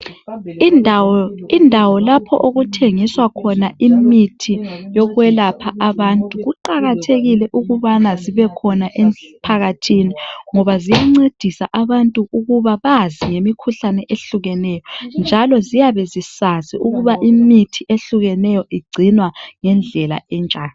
Indawo lapho okuthengiswa khona imithi yokwelapha abantu. Kuqakathekile ukubana zibekhona emphakathini ngoba ziyancedisa abantu ukuba bazi ngemikhuhlane ehlukeneyo njalo ziyabe zisazi ukuba imithi ehlukahlukeneyo igcinwa ngendlela enjani.